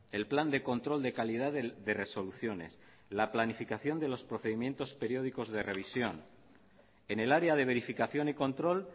el plan de control de calidad de resoluciones la planificación de los procedimientos periódicos de revisión en el área de verificación y control